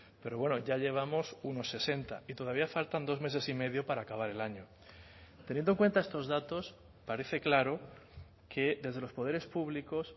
pero bueno ya llevamos unos sesenta y todavía faltan dos meses y medio para acabar el año teniendo en cuenta estos datos parece claro que desde los poderes públicos